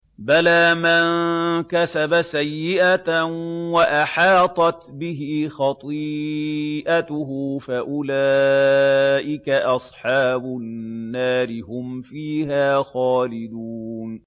بَلَىٰ مَن كَسَبَ سَيِّئَةً وَأَحَاطَتْ بِهِ خَطِيئَتُهُ فَأُولَٰئِكَ أَصْحَابُ النَّارِ ۖ هُمْ فِيهَا خَالِدُونَ